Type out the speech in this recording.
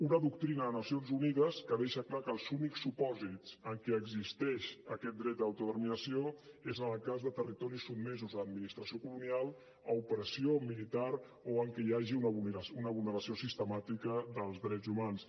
una doctrina de nacions unides que deixa clar que els únics supòsits en què existeix aquest dret d’autodeterminació és en el cas de territoris sotmesos a l’administració colonial a opressió militar o en què hi hagi una vulneració sistemàtica dels drets humans